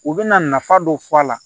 U bɛna nafa dɔ fɔ a la